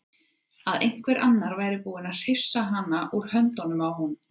Að einhver annar væri búinn að hrifsa hana út úr höndunum á honum.